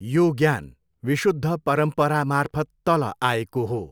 यो ज्ञान विशुद्ध परम्परामार्फत तल आएको हो।